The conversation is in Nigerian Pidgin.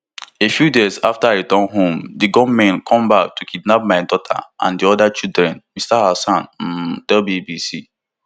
a few days after i return home di gunmen come back to kidnap my daughter and di oda children mr alhassan um tell bbc